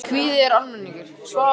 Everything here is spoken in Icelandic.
Guðmunda, hvernig er dagskráin í dag?